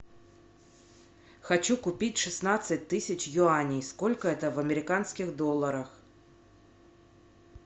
хочу купить шестнадцать тысяч юаней сколько это в американских долларах